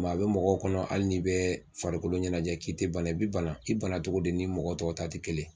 a bɛ mɔgɔw kɔnɔ hali n'i bɛ farikolo ɲɛnajɛ k'i tɛ bana i bɛ bana i bana cogo de ni mɔgɔ tɔw ta tɛ kelen